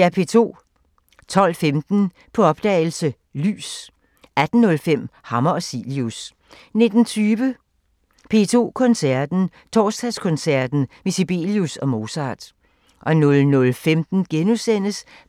12:15: På opdagelse – Lys 18:05: Hammer og Cilius 19:20: P2 Koncerten – Torsdagskoncert med Sibelius og Mozart 00:15: